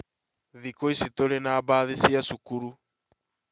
Thĩku ĩcĩ tũrĩ na mbathi cia cukuru